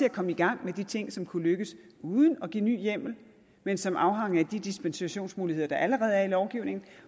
at komme i gang med de ting som kunne lykkes uden at give ny hjemmel men som afhang af de dispensationsmuligheder der allerede er i lovgivningen